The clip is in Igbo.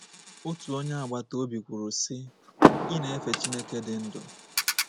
Otu onye agbata obi kwuru sị, ‘ Ị na-efe Chineke dị ndụ.